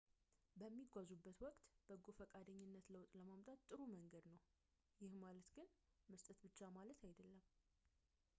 በሚጓዙበት ወቅት በጎ ፈቃደኝነት ለውጥ ለማምጣት ጥሩ መንገድ ነው ይህ ማለት ግን መስጠት ብቻ ማለት አይደለም